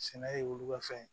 Sɛnɛ ye olu ka fɛn ye